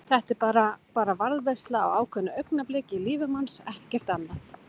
Þetta er bara. bara varðveisla á ákveðnu augnabliki í lífi manns, ekkert annað.